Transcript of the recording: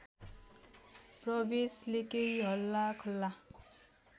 प्रवेशले केही हल्लाखल्ला